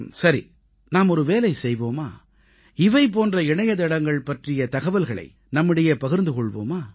சரி நாம் ஒரு வேலை செய்வோமா இவை போன்ற இணையத்தளங்கள் பற்றிய தகவல்களை நம்மிடையே பகிர்ந்து கொள்வோமா